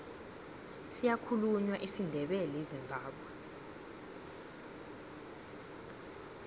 siyakhulunywa isindebele ezimbabwe